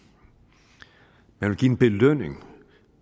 man vil give en belønning